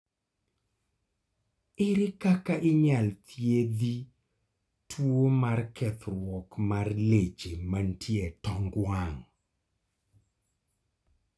ere kaka inyal thiedhi tuo mar kethruok mar leche mantie e tong wang'